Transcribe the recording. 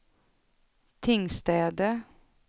Tingstäde